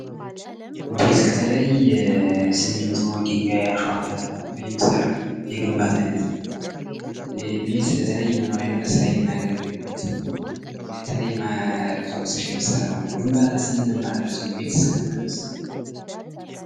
ቤዝ ከተለያየን ሲሚንቶ ድንጋይ አሸዋ ተሰባስቦ የሚሰራ የግንባታ አይነት ነው:: ይህ ቤዝ ለተለያየ መኖሪያ እና ለስራ የምያገግልበት ነው:: የተለያየ ቁሳቁሶች የሚሰራ ማለት ነው:: ግንባታ ስንል ምን ማለታችን ነው ቤትስ ከምን ከምን ይሰራል?